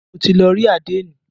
Mo ti lọ rí àdénì.